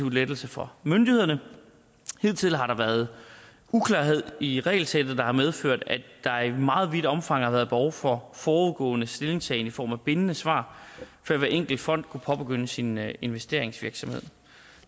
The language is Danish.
lettelse for myndighederne hidtil har der været uklarhed i regelsættet hvilket har medført at der i meget vidt omfang har været behov for forudgående stillingtagen i form af bindende svar før hver enkelt fond kunne påbegynde sin investeringsvirksomhed